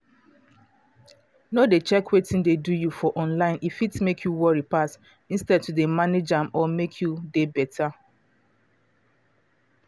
no dey check wetin dey do you for online e fit make you worry pass instead to dey manage am or make you dey better.